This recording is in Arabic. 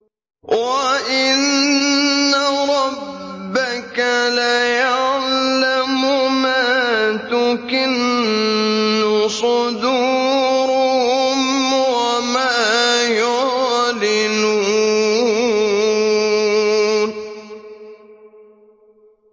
وَإِنَّ رَبَّكَ لَيَعْلَمُ مَا تُكِنُّ صُدُورُهُمْ وَمَا يُعْلِنُونَ